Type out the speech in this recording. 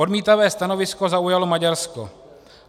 Odmítavé stanovisko zaujalo Maďarsko.